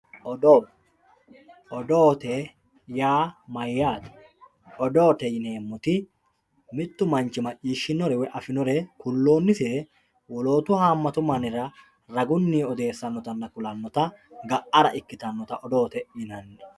Odoo, odoote yaa mayyate, odoote yineemmoti mitu manchi afinore woyi macciishshinore ku'lonsire wolootu hamatu mannira raguni ku'lanottanna odeessanotta ga"ara ikkittanotta odoote yinanni.